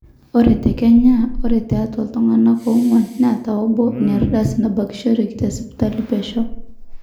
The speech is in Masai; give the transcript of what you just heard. ore te kenya ore tiatwa iltung'anak oong'wan neeta obo inaardasi nabakishoreki tesipitali pesho